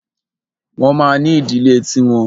Wọ́n ma ní ìdílé ti wọn.